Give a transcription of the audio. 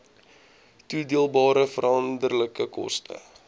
toedeelbare veranderlike koste